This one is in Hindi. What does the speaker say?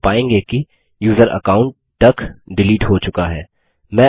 हम पायेंगे कि यूज़र अकाउंट डक डिलीट हो चुका है